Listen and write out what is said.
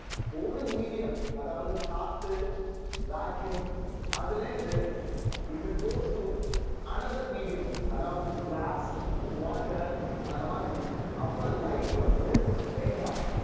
ஒரு medium அதாவது காத்து vacuum அதுல இருந்து if it goes to another medium அதாவது glass, water அந்த மாதிரி அப்ப light வந்து bend ஆகும்